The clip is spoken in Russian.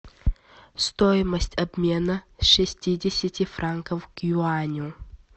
стоимость обмена шестидесяти франков к юаню